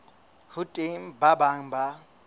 ho teng ba bang ba